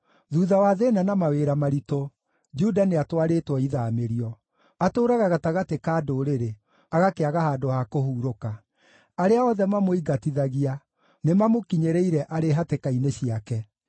Thuutha wa thĩĩna na mawĩra maritũ, Juda nĩatwarĩtwo ithaamĩrio. Atũũraga gatagatĩ ka ndũrĩrĩ; agakĩaga handũ ha kũhurũka. Arĩa othe mamũingatithagia nĩmamũkinyĩrĩire arĩ hatĩka-inĩ ciake.